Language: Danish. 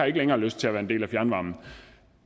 ikke har lyst til at være en del af fjernvarmen